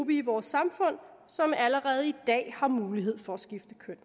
i vores samfund som allerede i dag har mulighed for at skifte køn